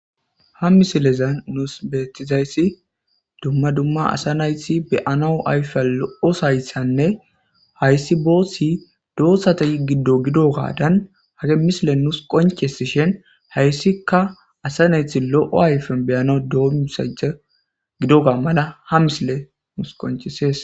Ha misilezan nus beettizays dumma dumma asa nayti be'anaw ayfiyan lo'ozaytanne hayssi booththi doozata giddo gidogadan hage misiley nuus qonccisishin hayssikka asa nayti lo'o ayfen be'anaw doomisanchcha gidoga mala ha misiley nuusi qonccises.